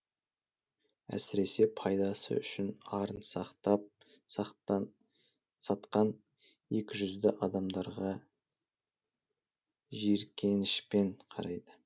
әсіресе пайдасы үшін арын сатқан екіжүзді адамдарға жиіркенішпен қарайды